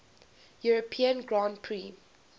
european grand prix